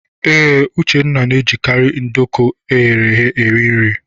Ee, Uchenna na-ejikarị nduku eghere eghe eri nri.